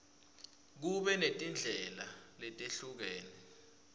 kube netindlela letehlukene